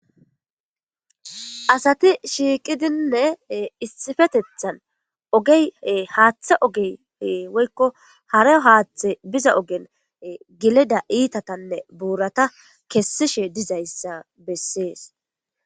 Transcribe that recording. Asati shiiqidinne issifetethan ge haaththe ogeyee woykko harayo haaththe biza ogen gilida iitatanne buurata kessishe dizayssa bessees.